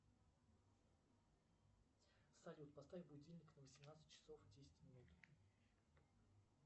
салют поставь будильник на восемнадцать часов десять минут